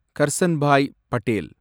Karsanbhai Patel